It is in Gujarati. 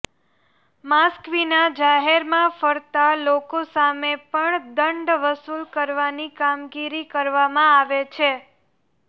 માસ્ક વિના જાહેરમાં ફરતા લોકો સામે પણ દંડ વસુલ કરવાની કામગીરી કરવામાં આવે છે